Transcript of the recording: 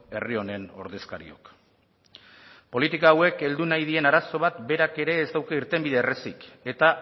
herri honen ordezkariok politika hauek heldu nahi dien arazoa bat berak ere ez dauka irtenbidera errazik eta